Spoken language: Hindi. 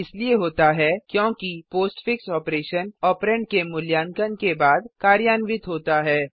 यह इसलिए होता है क्योंकि पोस्टफिक्स ऑपरेशन ऑपरेंड के मूल्यांकन के बाद कार्यान्वित होता है